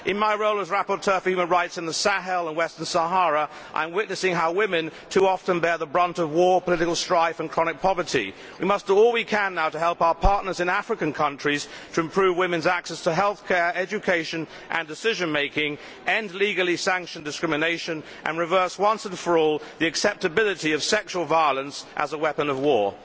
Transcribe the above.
In my role as rapporteur for human rights in the Sahel and Western Sahara, I am witnessing how women too often bear the brunt of war, political strife and chronic poverty. We must do all we can now to help our partners in African countries to improve women's access to healthcare, education and decision making, end legally sanctioned discrimination and reverse once and for all the acceptability of sexual violence as a weapon of war.